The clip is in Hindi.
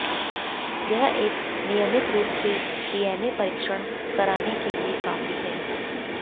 यह एक नियमित रूप से डीएनए परीक्षण कराने के लिए काफी है